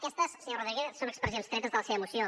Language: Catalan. aquestes senyor rodríguez són expressions tretes de la seva moció